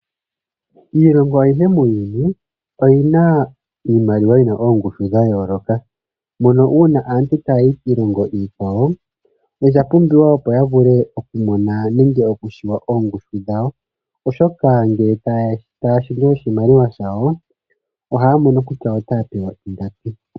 Iilongo ayihe muuyuni oyi na iimaliwa yi na oongushu dh ayooloka, mono uuna aantu taya yi kiilongo iikwawo osha pumbiwa, opo ya vule okumona nenge okushiwa oongushu dhawo, oshoka ngele taya shendje oshimaliwa shawo ohaya mono kuty aotaya pewa ingapi.